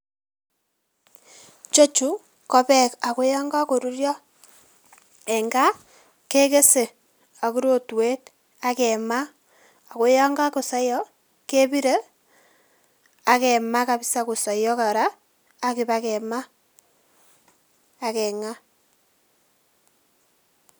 Ichechu ko beek ako yon kakorurio en gaa kekese ak rotwet ak kemaa ako yon kokosoiyo kebire ak kemaa kabsa kosoiyo kora, ak ibaakemaa ak keng'aa.